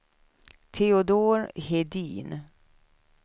Teodor Hedin